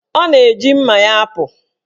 Ọ na-eji mma ya apụ.